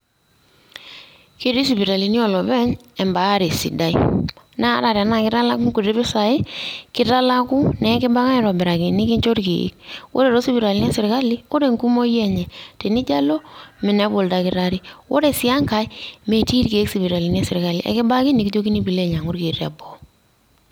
Ketii sipitalini oolopeny imbaare sidai. Naa ata tenaake italakuni inkuti pisai, kitalaku, nekibak aitobiraki nekinjo irkeek. Ore too sipitalini eserkali ore enkumoi enye tenijo alo, minepu oldakitari. Ore sii enkai, metii irkeek sipitalini eserkali kibaki ake nekijokini pee ilo ainyang'u irkeek teboo.